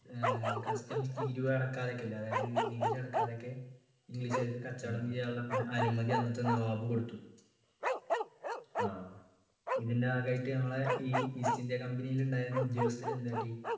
ഏർ customs തീരുവ അടക്കാതെയൊക്കെ അതായത് നികുതി അടക്കാതെയൊക്കെ english കാർക്ക് കച്ചവടം ചെയ്യാനുള്ള അഹ് അനുമതി അന്നത്തെ നവാബ് കൊടുത്തു ഇതിൻ്റെ ഭാഗമായിട്ട് നമ്മളെ ഈ east ഇന്ത്യ company യിൽ ഉണ്ടായിരുന്ന ഉദ്യോഗസ്ഥർ എന്ത് കാട്ടി